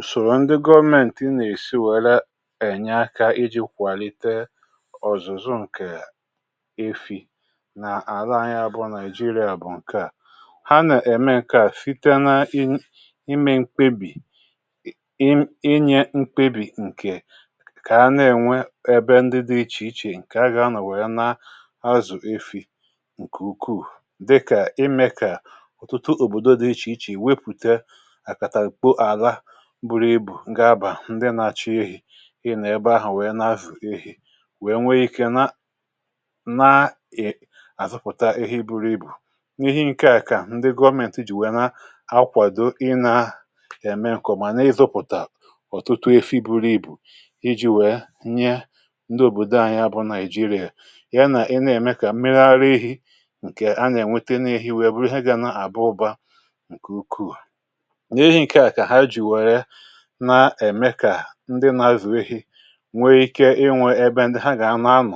Ùsòrò ndị gọ̀ọ̀mentì nà-èsì wèrè enye àkà iji kwàlite ọ̀zụ̀zụ nke efi̇ n’àlà anyị abụọ Nigeria,.. bụ̀ nke à ha nà-ème um Nke à sìte n’ime mkpèbì, inyè mkpèbì nke kà ha nà-ènwè ebe ndị dị iche-iche, nke agà anọ̀ nwèrè ya n’azụ̀ efi̇ nke ukwuù, dịkà ime kà ọ̀tụtụ òbòdo dị iche-iche wepụ̀te, bụrụ̀ ibù gà-abà ndị nà-àchọ efi̇. Ị nà ebe ahụ̀, wèe nàzìe efi̇, wèe nwee ike n’àzụpụ̀tà ihe buru ibù... N’ihì nke à, kà ndị gọ̀ọ̀mentì jì wèe nà-akwàdo inà-èmé um n’kọ̀, mà n’ìzùpụ̀tà ọ̀tụtụ efi̇ buru ibù, iji wèe nye ndị òbòdo anyị abụọ Nigeria ihe. Ị nà-èmé kà mmiri ara ehi̇ nke à nà-ènwete, n’ihì wee bụrụ̀ ihe gà nà-àba ụ̀bà nke ukwuù, nà-èmekà ndị nà-azụ̀ efi̇ nwee ike inwè ebe ndị ha gà-anọ̀. um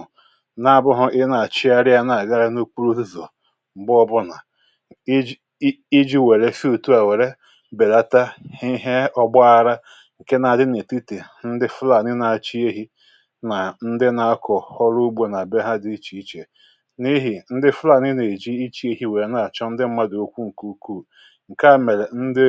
N’ábụ̀hụ̇, ị nà-àchịàrịà nà-àgàrà n’ùkwùrụ̀ òzùzù̀ m̀gbọbụ, nà iji wèe si òtù à wèe bèlàtà ihe ọ̀gbagharà nke nà-adì n’ètìtì ndị Fulani, nà ndị nà-àkọ̀ ọrụ̀ ugbò. Ndị à nà-abịa dị iche-iche, n’ihì nà ndị Fulani nà-èjì iche efi̇, wèe nà-àchọ̀ ndị mmadụ̀ okwu um Nke ukwuù nke à mèrè, ndị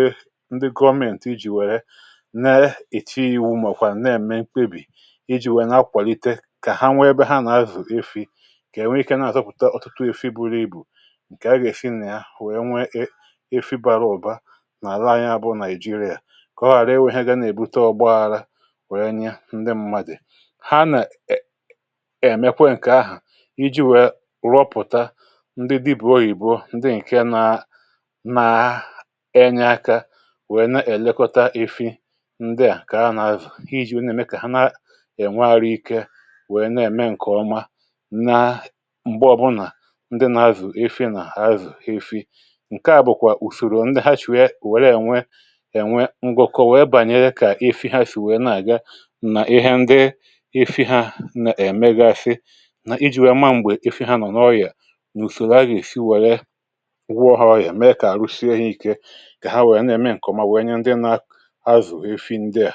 nèe èlèkọ̀tà̀ ndị à kà a nà-azụ̀, iji nà-èmekà ha nà-ènwè àrụ̀ ike, wèe nà-ème nke ọma. Nà m̀gbè ọbụlà, ndị nà-azụ̀ efi̇, nà-azụ̀ efi̇ nke à, bụ̀kwa ùsòrò ndị ha chụ̀rà̀, wèe ènwè ngọ̀kọ̀... Wèe bànyèrè kà efi̇ ha sì wèe nà-àga, nà ihe ndị efi̇ ha emegasị, nà iji wèe ma m̀gbè efi̇ ha nọ̀ n’ọ̀yà um N’ùsòrò a, gà-èsì wèe wụọ̀ ha ọ̀yà, èmekà àrụ̀sie ha ike. Ǹfèrè à wùrù, n’dewo, ènwèghị̀. Màkà ọ̀zọ̀kwa um à wùrù efi̇ n’dewo.